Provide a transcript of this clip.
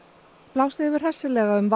blásið hefur hressilega um